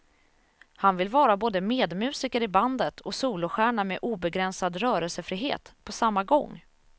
Han vill vara både medmusiker i bandet och solostjärna med obegränsad rörelsefrihet, på samma gång.